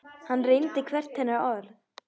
Hann reyndi hvert hennar orð.